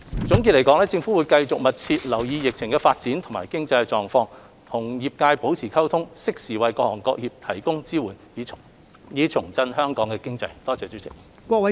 總括而言，政府會繼續密切留意疫情的發展和經濟狀況，與各界保持溝通，適時為各行各業提供支援，以重振香港經濟。